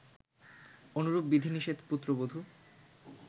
অনুরূপ বিধিনিষেধ পুত্রবধু